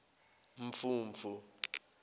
mfumfu